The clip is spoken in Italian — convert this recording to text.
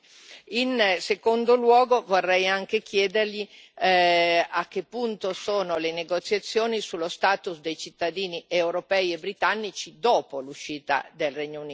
In secondo luogo, vorrei anche chiedergli a che punto sono le negoziazioni sullo status dei cittadini europei e britannici dopo l'uscita del Regno Unito.